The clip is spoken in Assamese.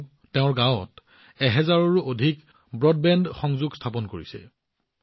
তেওঁ নিজৰ গাঁৱত এক হাজাৰৰো অধিক ব্ৰডবেণ্ড সংযোগ স্থাপন কৰিছে